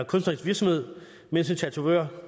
kunstnerisk virksomhed mens en tatovør